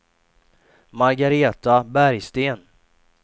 Margareta Bergsten